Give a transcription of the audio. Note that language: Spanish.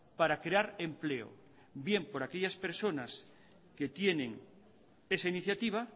para crear empleo bien por aquellas personas que tienen esa iniciativa